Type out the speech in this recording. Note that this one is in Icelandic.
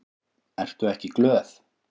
Ertu ekki glöð?